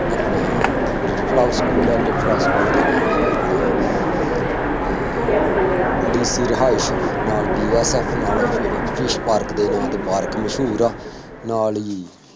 ਆਂਪਣ little flower school ਹੈ, little flower school ਦੇ ਨਾਲ ਹੀ ਆਂਪਣਾ ਅਹ DC ਰਿਹਾਇਸ਼, ਨਾਲ BSF ਨਾਲ ਸਤੀਸ਼ ਪਾਰਕ ਦੇੇ ਨਾਂ ਤੇ ਪਾਰਕ ਮਸ਼ਹੂਰ ਆ, ਨਾਲ ਹੀ